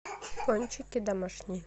пончики домашние